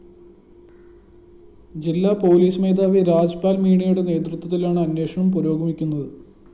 ജില്ലാ പോലീസ് മേധാവി രാജ്‌പാല്‍ മീണയുടെ നേതൃത്വത്തിലാണ് അന്വേഷണം പുരോഗമിക്കുന്നത്